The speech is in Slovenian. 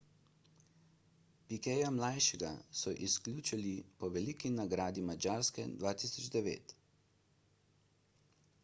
piqueta mlajšega so izključili po veliki nagradi madžarske 2009